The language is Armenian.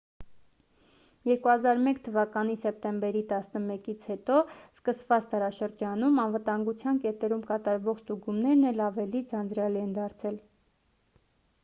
2001 թ սեպտեմբեր 11-ից հետո սկսված դարաշրջանում անվտագության կետերում կատարվող ստուգումներն էլ ավելի ձանձրալի են դարձել